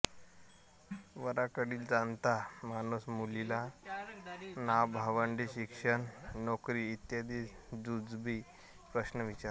वराकडील जाणता माणूस मुलीला नाव भावंडे शिक्षणनोकरी इत्यादी जुजबी प्रश्न विचारतो